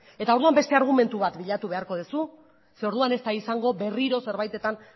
orduan beste argumentu bat bilatu beharko duzu zeren eta orduan ez da izango berriro zerbaitetan